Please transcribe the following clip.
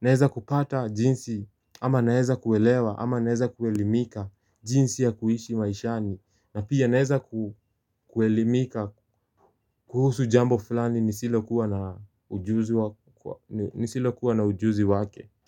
Naweza kupata jinsi ama naeza kuelewa ama naeza kuelimika. Elimika jinsi ya kuishi maishani na pia naweza kuelimika kuhusu jambo fulani nisilokuwa na nisilo kuwa na ujuzi wake.